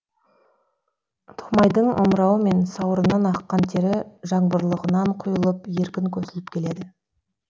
томайдың омырауы мен сауырынан аққан тері жаңбырлығынан құйылып еркін көсіліп келеді